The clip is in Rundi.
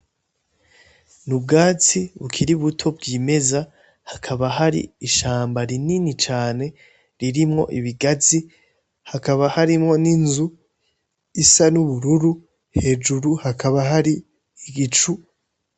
Ni ubwatsi bukiri buto bw'imeza hakaba hari ishamba rinini cane ririmwo ibigazi hakaba harimwo n'inzu isa n’ubururu hejuru hakaba hari igicu.